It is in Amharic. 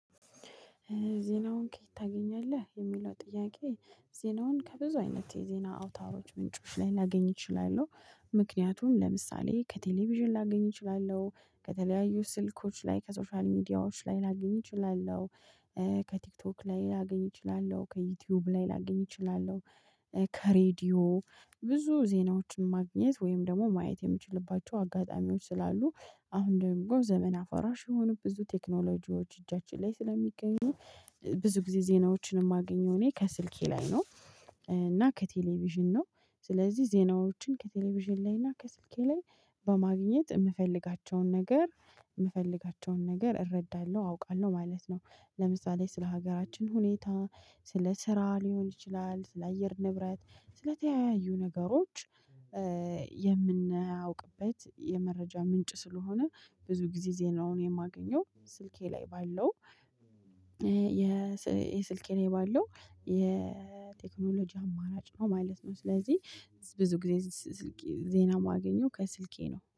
ዜናውን ከየት ታገኛለህ የሚለው ጥያቄ? ዜናውን ከብዙ አይነት የዜና አውታዎች ምንጮች ላይ ላገኝ እችላለሁ። ምክንያቱም ለምሳሌ ከቴሌቪዥን ላገኝ እችላለሁ። ከተለያዩ ስልኮች ላይ ከሶሻል ሚዲያዎች ላይ ላግኝ እችላለሁ። ከቲክቶክ ላይ ላግኝ እችላለሁ። ከዩቲዩብ ላይ ላግኝ እችላለሁ። ከሬዲዮ ብዙ ዜናዎችን ማግኘት ወይም ደሞ ማየት የምችልባቸው አጋጣሚዎች ስላሉ። አሁን ደግሞ ዘመን አፈራሽ የሆኑ ብዙ ቴክኖሎጂዎች እጃችን ላይ ስለሚገኙ ብዙ ጊዜ ዜናዎችን ማገኘው እኔ ከስልኬ ላይ ነው። እና ከቴሌቪዥን ነው። ስለዚህ ዜናዎችን ከቴሌቪዥን ላይና ከስልኬ ላይ። በማግኘት የምፈልጋቸውን ነገር የምፈልጋቸውን ነገር እረዳለሁ አውቃለሁ ማለት ነው። ለምሳሌ ስለ ሀገራችን ሁኔታ። ስለ ስራ ሊሆን ይችላል ስለ አየር ንብረት። ስለተያዩ ነገሮች። የምናውቅበት የመረጃ ምንጭ ስለሆነ። ብዙ ጊዜ ዜናውን የማገኘው ስልኬ ላይ ባለው። የስ ስልኬ ላይ ባለው የ ቴክኖሎጂ አማራጭ ነው ማለት ነው። ስለዚህ ብዙ ጊዜ ዜና ማገኘው ከስልኬ ነው